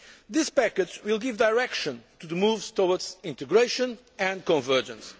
This package will give direction to the moves towards integration and convergence.